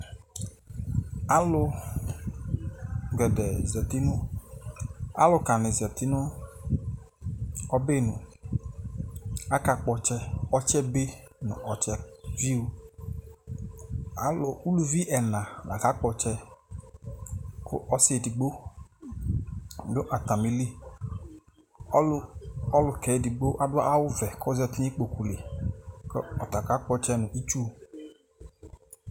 Alu gɛdɛɛ zati nʋ, aluka ni zati nʋ ɔbɛ nuAkakpɔ ɔtsɛ Ɔtsɛ be nu ɔtsɛ viʋAlu, uluvi ɛna lakakpɔ ɔtsɛ Kʋ ɔsi edigbo dʋ atamiliƆlu, ɔlukɛ edigbo adʋ awu vɛ, kozati nikpoku liKʋ ɔta kakpɔtsɛ nu itsu